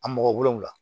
A mɔgɔ wolonvila